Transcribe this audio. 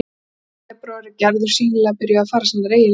Strax í febrúar er Gerður sýnilega byrjuð að fara sínar eigin leiðir.